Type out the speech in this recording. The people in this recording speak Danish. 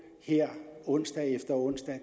her onsdag efter onsdag